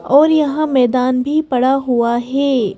और यहां मैदान भी पड़ा हुआ है।